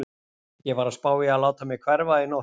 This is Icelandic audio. Ég var að spá í að láta mig hverfa í nótt.